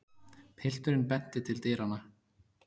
Pilturinn benti til dyranna.